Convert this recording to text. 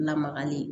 Lamagali